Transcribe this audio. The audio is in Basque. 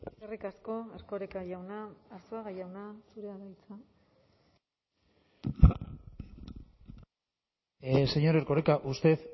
eskerrik asko erkoreka jauna arzuaga jauna zurea da hitza señor erkoreka usted